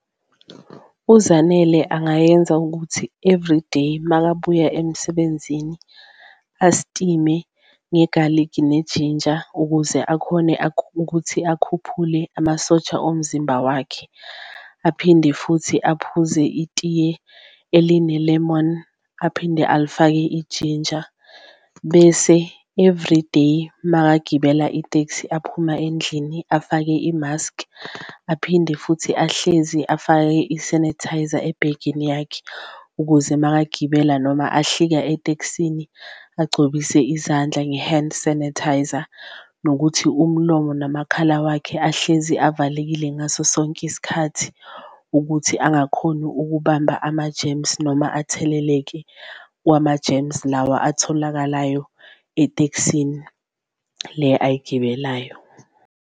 UZanele angayenza ukuthi everyday makabuya emsebenzini astime ngegaligi neninja ukuze akhone ukuthi akhuphule amasosha omzimba wakhe, aphinde futhi aphuze itiye eline-lemon aphinde ayifake ijinja. Bese everyday makagibela iteksi aphuma endlini, afake i-mask, aphinde futhi ahlezi afake i-sanitizer ebhegeni yakhe ukuze makagibela noma ahlika eteksini agcobise izandla nge-hand sanitizer. Nokuthi umlomo nomakhala wakhe ahlezi avalekile ngaso sonke isikhathi ukuthi angakhoni ukubamba ama-germs, noma atheleleke kwama-germs lawa atholakalayo etekisini le ayigibelayo.